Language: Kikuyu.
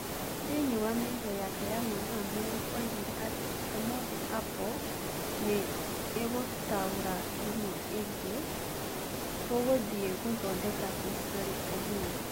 Thĩinĩ wa mĩario yake ya mathaa merĩ oigire atĩ "Ũmũthĩ Apple nĩ ĩgũtaũra thimũ rĩngĩ, Tũgũthiĩ gũthondeka historĩ ũmũthĩ".